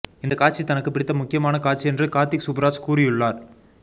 இந்த காட்சி தனக்கு பிடித்த முக்கியமான காட்சி என்று கார்த்திக் சுப்புராஜ் கூறியுள்ளார்